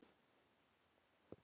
Strákur bunaði út úr sér